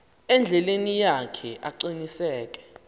endleleni yakhe aqiniseke